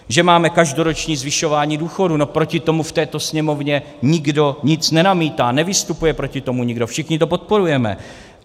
Že máme každoroční zvyšování důchodů, no proti tomu v této Sněmovně nikdo nic nenamítá, nevystupuje proti tomu nikdo, všichni to podporujeme.